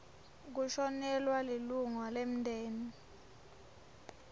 kushonelwa lilunga lemndeni